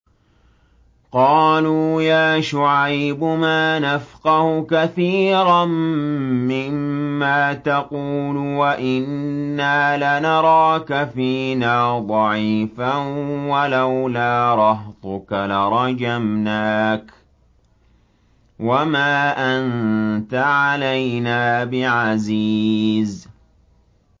قَالُوا يَا شُعَيْبُ مَا نَفْقَهُ كَثِيرًا مِّمَّا تَقُولُ وَإِنَّا لَنَرَاكَ فِينَا ضَعِيفًا ۖ وَلَوْلَا رَهْطُكَ لَرَجَمْنَاكَ ۖ وَمَا أَنتَ عَلَيْنَا بِعَزِيزٍ